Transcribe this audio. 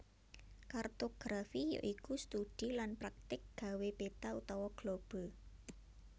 Kartografi ya iku studi lan praktik gawé peta utawa globe